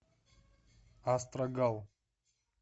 астрагал